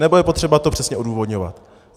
Nebo je potřeba to přesně odůvodňovat?